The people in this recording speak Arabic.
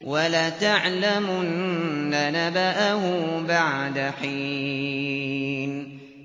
وَلَتَعْلَمُنَّ نَبَأَهُ بَعْدَ حِينٍ